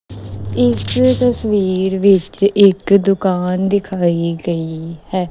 ਇਸ ਤਸਵੀਰ ਵਿੱਚ ਇੱਕ ਦੁਕਾਨ ਦਿਖਾਈ ਦੇ ਹੈ।